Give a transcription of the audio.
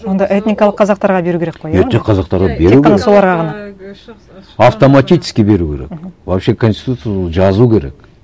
онда этникалық қазақтарға беру керек қой иә этник қазақтарға беру автоматически беру керек вообще конституцияда жазу керек